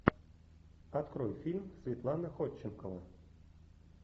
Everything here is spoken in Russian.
открой фильм светлана ходченкова